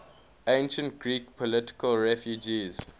ancient greek political refugees